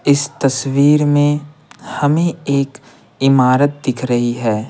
इस तस्वीर में हमें एक इमारत दिख रही है।